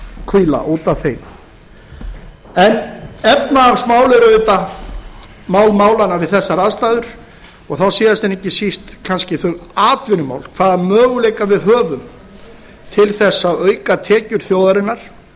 hvíla út af þeim efnahagsmál eru auðvitað mál málanna við þessar aðstæður og þá síðast en ekki síst kannski þau atvinnumál hvaða möguleika við höfum til þess að auka tekjur þjóðarinnar